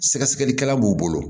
Sɛgɛsɛgɛlikɛla b'u bolo